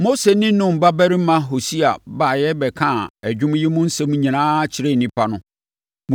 Mose ne Nun babarima Hosea baeɛ bɛkaa dwom yi mu nsɛm nyinaa kyerɛɛ nnipa no.